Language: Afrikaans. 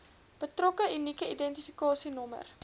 betrokke unieke identifikasienommer